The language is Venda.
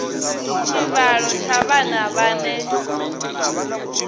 tshivhalo tsha vhana vhane vha